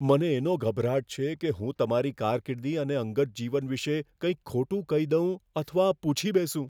મને એનો ગભરાટ છે કે હું તમારી કારકિર્દી અને અંગત જીવન વિશે કંઇક ખોટું કહી દઉં અથવા પૂછી બેસું.